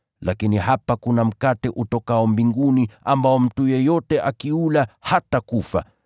Lakini hapa kuna mkate utokao mbinguni, ambao mtu yeyote akiula, hatakufa.